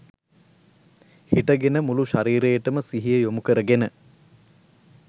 හිටගෙන මුළු ශරීරයටම සිහිය යොමු කරගෙන